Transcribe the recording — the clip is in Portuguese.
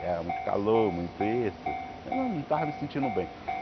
Era muito calor, muito isso, eu não tava me sentindo bem.